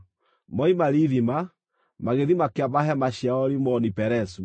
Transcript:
Moima Rithima, magĩthiĩ makĩamba hema ciao Rimoni-Perezu.